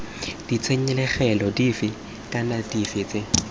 ditshenyegelo dife kana dife tse